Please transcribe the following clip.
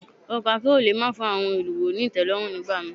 Ọkọ̀ akérò le má fún àwọn èrò ni ìtẹ́lọ́rùn ní ìgbà mi.